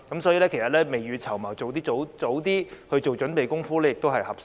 所以，其實未雨綢繆，盡早做準備工夫也是合適的。